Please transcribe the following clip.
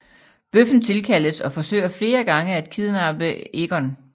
Bøffen tilkaldes og forsøger flere gange at kidnappe Egon